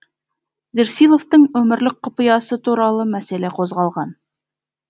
версиловтың өмірлік құпиясы туралы мәселе қозғалған